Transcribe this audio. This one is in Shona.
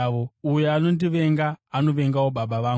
Uyo anondivenga anovengawo Baba vangu.